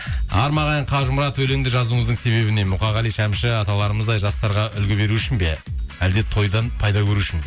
қажымұрат өлеңді жазуыңыздың себебі не мұқағали шәмші аталарымыздай жастарға үлгі беру үшін бе әлде тойдан пайда көру үшін